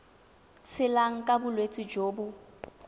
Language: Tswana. tshelang ka bolwetsi jo bo